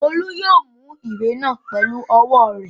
Olú yóò mú ìwé náà pẹlú ọwọ́ rẹ̀.